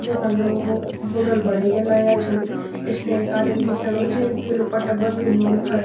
जैमा लोगो मुंडालू बणे के लयां छिन पिछने एक आदिम दिखेणु जैक पीलू पट्टा बंध्यू मुंड फर।